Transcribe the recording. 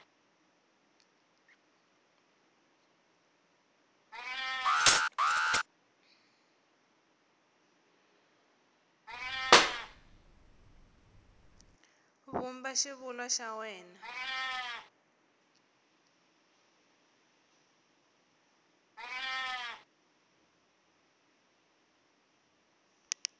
vumba xivulwa xa wena n